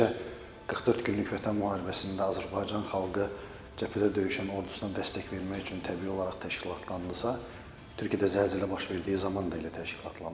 Necə 44 günlük Vətən müharibəsində Azərbaycan xalqı cəbhədə döyüşən ordusuna dəstək vermək üçün təbii olaraq təşkillandısa, Türkiyədə zəlzələ baş verdiyi zaman da elə təşkilandı.